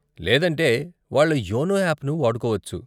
లేదంటే, వాళ్ళ యోనో యాప్ను వాడుకోవచ్చు.